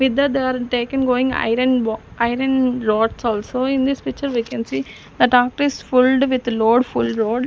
with that they are taken going iron iron rods also in this picture we can see the fulled with load full load--